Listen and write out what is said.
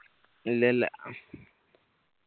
ഇല്ലയില്ല